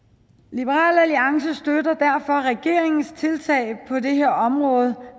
liberal alliance støtter derfor regeringens tiltag på det her område